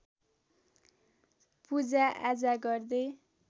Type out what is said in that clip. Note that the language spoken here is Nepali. पूजाआजा गर्दै